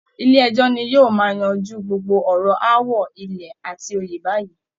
Ilé ẹjọ́ ni yóò máa yanjú gbogbo ọ̀rọ̀ aáwọ ilẹ̀ àti oyè báyìí